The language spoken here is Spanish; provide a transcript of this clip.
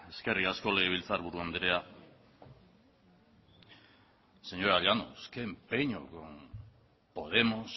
eskerrik asko legebiltzar buru andrea señora llanos qué empeño con podemos